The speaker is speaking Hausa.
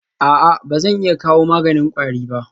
A'a ba zan iya kawo maganin kwari ba?